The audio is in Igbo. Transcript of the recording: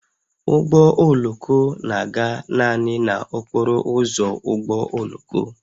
Ụgbọ oloko na-aga naanị n'okporo ụzọ ụgbọ oloko